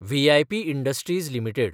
V I P industries limited